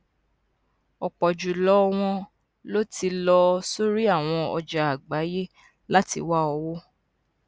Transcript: ọpọ jù lọ wọn ló ti lọ sórí àwọn ọjà àgbáyé láti wá owó